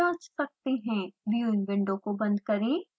viewing window को बंद करें